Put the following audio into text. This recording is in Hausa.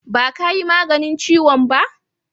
Ba ka yi maganin ciwon ba?